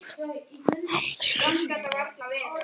Hann þylur: